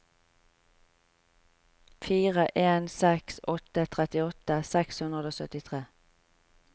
fire en seks åtte trettiåtte seks hundre og syttitre